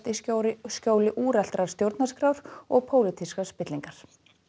í skjóli skjóli úreltrar stjórnarskrár og pólitískrar spillingar